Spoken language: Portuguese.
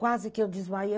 Quase que eu desmaiei.